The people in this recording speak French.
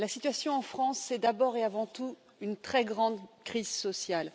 La situation en France, c'est d'abord et avant tout une très grande crise sociale.